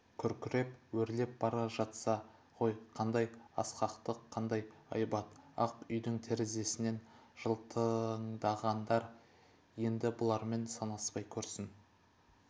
күркіреп өрлеп бара жатса ғой қандай асқақтық қандай айбат ақ үйдің терезесінен жылтыңдағандар енді бұлармен санаспай көрсін